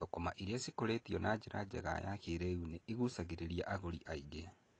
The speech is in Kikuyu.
Thũkũma irĩa cikũrĩtio na njĩra njega na ya kĩrĩu nĩ igucagĩrĩria agũri aingĩ.